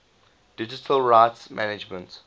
digital rights management